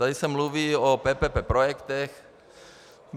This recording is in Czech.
Tady se mluví o PPP projektech.